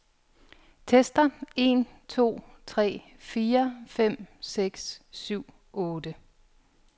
Tester en to tre fire fem seks syv otte.